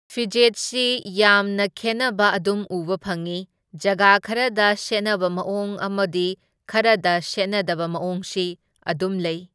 ꯐꯤꯖꯦꯠꯁꯤ ꯌꯥꯝꯅ ꯈꯦꯟꯅꯕ ꯑꯗꯨꯝ ꯎꯕ ꯐꯪꯢ, ꯖꯒꯥ ꯈꯔꯗ ꯁꯦꯠꯅꯕ ꯃꯑꯣꯡ ꯑꯃꯗꯤ ꯈꯔꯗ ꯁꯦꯠꯅꯗꯕ ꯃꯑꯣꯡꯁꯤ ꯑꯗꯨꯝ ꯂꯩ꯫